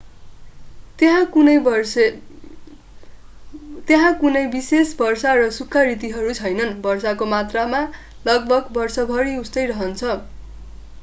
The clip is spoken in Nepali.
त्यहाँ कुनै विशेष वर्षा र सुख्खा ऋतुहरू छैनन् वर्षाको मात्रा लगभग वर्षभरि उस्तै रहन्छ